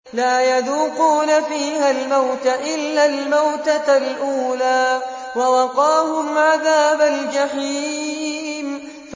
لَا يَذُوقُونَ فِيهَا الْمَوْتَ إِلَّا الْمَوْتَةَ الْأُولَىٰ ۖ وَوَقَاهُمْ عَذَابَ الْجَحِيمِ